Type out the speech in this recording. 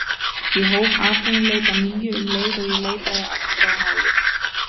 Ég hóf atvinnuleit að nýju um leið og ég leitaði aftur á náðir